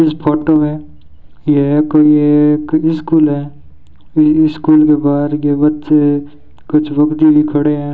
Photo में यह कोई एक स्कूल है स्कूल के बाहर के बच्चे कुछ रुकती भी खड़े हैं।